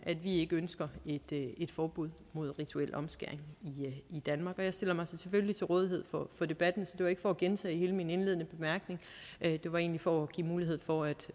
vi ikke ønsker et forbud mod rituel omskæring i danmark jeg stiller mig selvfølgelig til rådighed for debatten så det var ikke for at gentage hele min indledende bemærkning det var egentlig for at give mulighed for